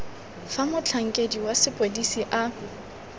fa motlhankedi wa sepodisi a